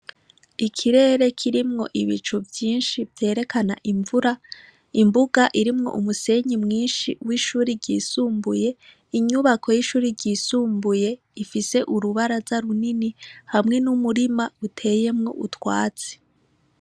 Ikirere kirimwo ibicu vyinshi vyerekana imvura, imbuga irimwo umusenyi mwinshi w'ishuri ry'isumbuye, inyubako y'ishure ryisumbuye ifise urubaraza runini, hamwe n'umurima uteyemwo utwatsi.